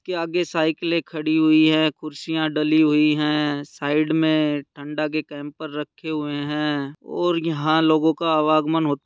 --के आगे साईकिले खड़ी हुई है कुर्सियाँ डली हुई है साइड में ठंडा के कैंपर रखे हुए है और यहाँ लोगो का अवागमन--